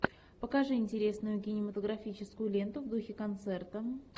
покажи интересную кинематографическую ленту в духе концерта